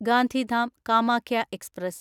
Gandhidham Kamakhya express